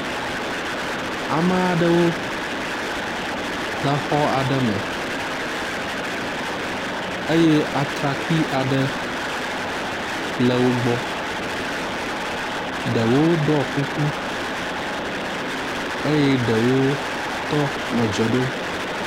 Ame aɖewo le xɔ aɖe me eye atrakpui aɖe le wo gbɔ. Ɖewo ɖɔ kuku eye ɖewo tɔ nɔ dze ɖom.